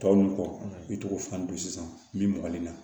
Tɔw n kɔ i tɔgɔ fana don sisan min bɔgɔli la